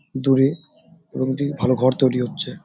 দূরে এবং একটি ভালো ঘর তৈরী হচ্ছে।